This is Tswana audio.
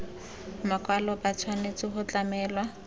makwalo ba tshwanetse go tlamelwa